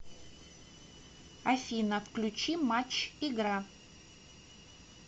афина включи матч игра